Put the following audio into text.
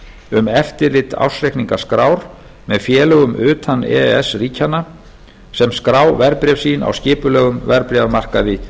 um eftirlit ársreikningaskrár með félögum utan e e s ríkjanna sem skrá verðbréf sín á skipulegum verðbréfamarkaði